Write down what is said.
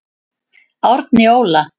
Árni Óla.